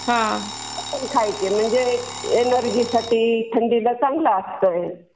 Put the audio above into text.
ते खायचे म्हणजे एनर्जी साठी, थंडीला चांगलं असतं ते.